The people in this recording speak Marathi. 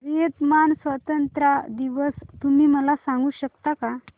व्हिएतनाम स्वतंत्रता दिवस तुम्ही मला सांगू शकता का